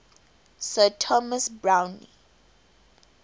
sir thomas browne